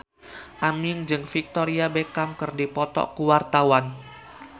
Aming jeung Victoria Beckham keur dipoto ku wartawan